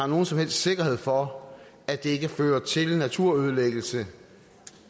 nogen som helst sikkerhed for at det ikke fører til naturødelæggelse